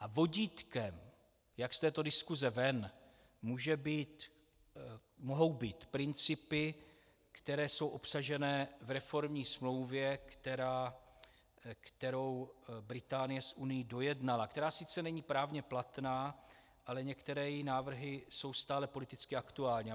A vodítkem, jak z této diskuse ven, mohou být principy, které jsou obsažené v reformní smlouvě, kterou Británie s Unií dojednala, která sice není právně platná, ale některé její návrhy jsou stále politicky aktuální.